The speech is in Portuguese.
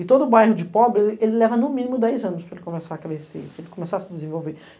E todo o bairro de pobre, ele leva no mínimo dez anos para ele começar a crescer, para ele começar a se desenvolver.